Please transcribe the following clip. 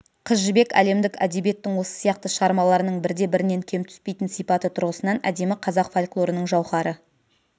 қыз жібек әлемдік әдебиеттің осы сияқты шығармаларының бірде-бірінен кем түспейтін сипаты тұрғысынан әдемі қазақ фольклорының жауһары